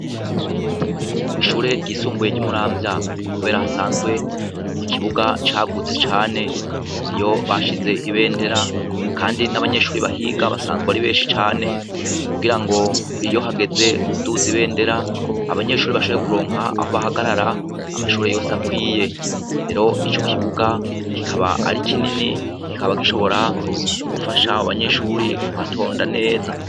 Kw’ishure ryisumbuye ry'umuramvya, kubera hasanzwe ikibuga cagutse cane ni yo bashize ibendera, kandi n'abanyeshuri bahiga basanzwe ari benshi cane kugira ngo iyo hageze kuduza ibendera abanyeshuri bashoye kuronka aho bahagarara amashure yose akwiye, hero ico kibuga kikaba ari ikinini kikaba gishobora gufashaho banyeshuri kuhatonda neza.